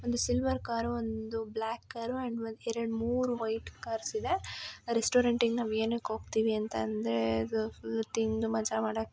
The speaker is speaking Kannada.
ಒಂದು ಸಿಲ್ವರ್ ಕಾರ್ ಒಂದು ಬ್ಲಾಕ್ ಕಾರು ಒಂದು ಎರೆಡು ಮೂರು ವೈಟ್ ಕಾರ್ಸ್ ಇದೆ ರೆಸ್ಟೋರೆಂಟ್ ಗೆ ನಾವು ಏನಿಕ್ಕೆ ಹೋಗತ್ತಿವಿ ಅಂತ ಹೇಳಿದಾರೆ ಇದು ಫುಲ್ ತಿಂದು ಮಜಾ ಮಾಡೋಕೆ.